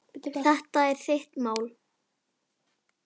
Þetta er þitt mál.